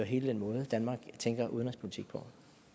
hele den måde danmark tænker udenrigspolitik på